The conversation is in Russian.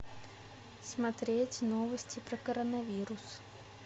смотреть новости про коронавирус